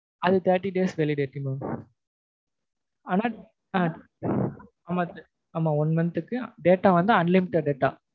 அது thirty days validity mam ஆனா ஆமா one month க்கு data வந்து unlimited data